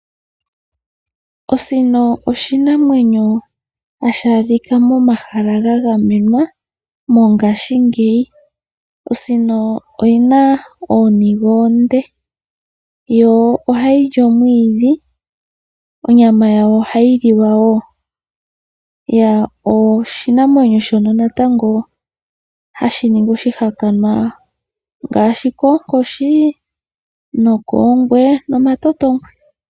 Osino oshinamwenyo ohashi adhika momahala ga gamenwa mongaashingeyi. Osino oyina ooniga oonde yo ohayili omwiidhi, onyama yayo oha yilwa woo . Oshinamwenyo shono natango hashi ningi oshihakanwa ngaashi koonkoshi ,oongwe nomatotongwe.